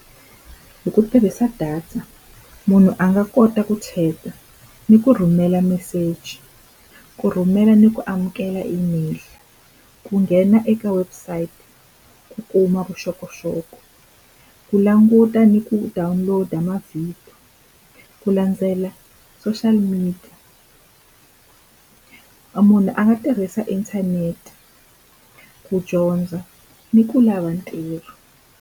Hi ku tirhisa data munhu a nga kota ku chat-a, ni ku rhumela meseji, ku rhumela ni ku amukela email. Ku nghena eka website, ku kuma vuxokoxoko, ku languta ni ku download-a mavhidiyo, ku landzela social media. munhu a nga tirhisa inthanete ku dyondza ni ku lava ntirho.